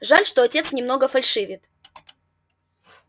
жаль что отец немного фальшивит